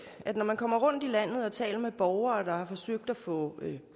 at når man kommer rundt i landet og taler med borgere der har forsøgt at få